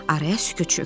Araya sükut çökdü.